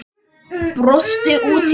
Brosti út í annað.